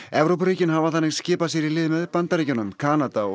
Evrópuríkin hafa þannig skipað sér í lið með Bandaríkjunum Kanada og